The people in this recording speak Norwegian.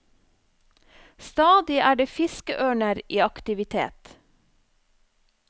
Stadig er det fiskeørner i aktivitet.